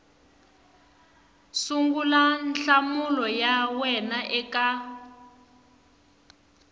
sungula nhlamulo ya wena eka